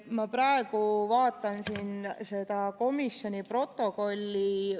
Ma praegu vaatan siin seda komisjoni protokolli.